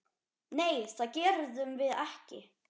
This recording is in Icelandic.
Nei, það gerðum við ekki.